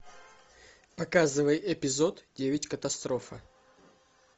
показывай эпизод девять катастрофы